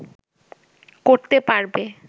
করতে পারবে